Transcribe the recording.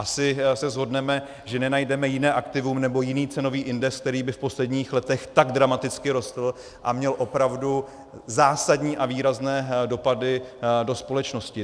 Asi se shodneme, že nenajdeme jiné aktivum nebo jiný cenový index, který by v posledních letech tak dramaticky rostl a měl opravdu zásadní a výrazné dopady do společnosti.